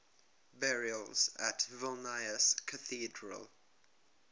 burials at vilnius cathedral